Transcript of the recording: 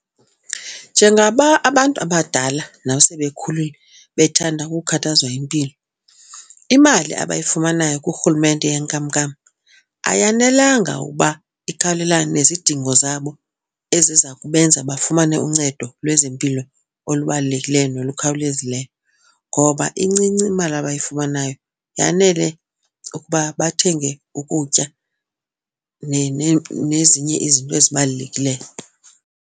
Njengaba abantu abadala nasebekhulile bethanda ukhathazwa impilo imali abayifumanayo kuRhulumente yenkamnkam ayanelanga uba ikhawulelane nezidingo zabo eziza kubenza bafumane uncedo lwezempilo olubalulekileyo nolukhawulezileyo ngoba incinci imali abayifumanayo. Yanele ukuba bathenge ukutya nezinye izinto ezibalulekileyo.